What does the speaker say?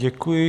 Děkuji.